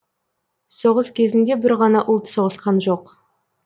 соғыс кезінде бір ғана ұлт соғысқан жоқ